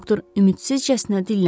Doktor ümidsizcəsinə dilləndi.